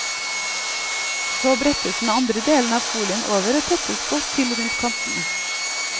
Så brettes den andre delen av folien over og tettes godt til rundt kantene.